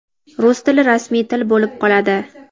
Rus tili rasmiy til bo‘lib qoladi.